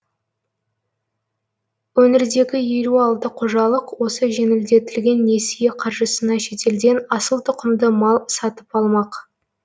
өңірдегі елу алты қожалық осы жеңілдетілген несие қаржысына шетелден асыл тұқымды мал сатып алмақ